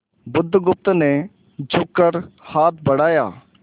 बुधगुप्त ने झुककर हाथ बढ़ाया